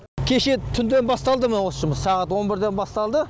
кеше түнде басталды мына осы жұмыс сағат он бірде басталды